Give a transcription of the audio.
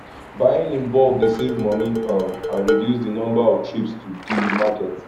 buying in bulk dey save money um and reduce di number of trips to di market